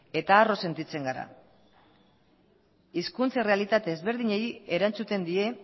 eta arro sentitzen gara hizkuntza errealitate desberdinei erantzuten die